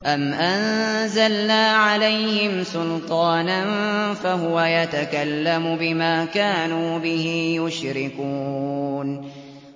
أَمْ أَنزَلْنَا عَلَيْهِمْ سُلْطَانًا فَهُوَ يَتَكَلَّمُ بِمَا كَانُوا بِهِ يُشْرِكُونَ